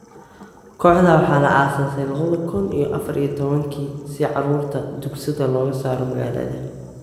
Kooxda waxaa la aasaasay labada kuun iyo afaar iyo tobaan-kii si carruurta ' tuugsada' looga saaro maagalada.